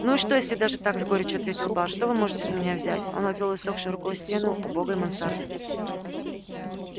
ну и что если даже так с горечью ответил бар что вы можете с меня взять он обвёл иссохшей рукой стены убогой мансарды